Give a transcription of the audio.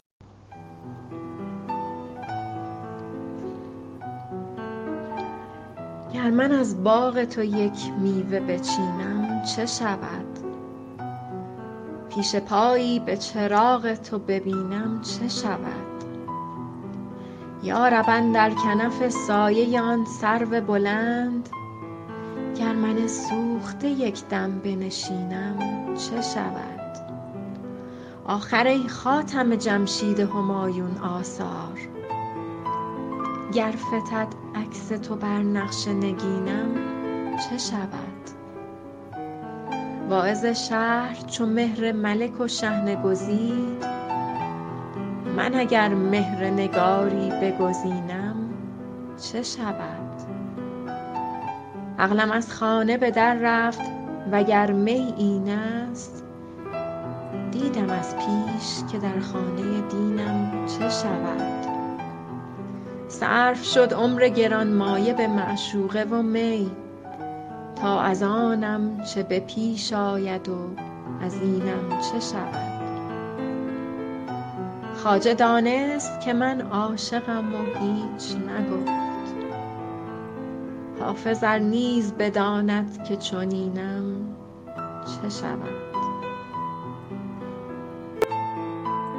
گر من از باغ تو یک میوه بچینم چه شود پیش پایی به چراغ تو ببینم چه شود یا رب اندر کنف سایه آن سرو بلند گر من سوخته یک دم بنشینم چه شود آخر ای خاتم جمشید همایون آثار گر فتد عکس تو بر نقش نگینم چه شود واعظ شهر چو مهر ملک و شحنه گزید من اگر مهر نگاری بگزینم چه شود عقلم از خانه به در رفت وگر می این است دیدم از پیش که در خانه دینم چه شود صرف شد عمر گرانمایه به معشوقه و می تا از آنم چه به پیش آید از اینم چه شود خواجه دانست که من عاشقم و هیچ نگفت حافظ ار نیز بداند که چنینم چه شود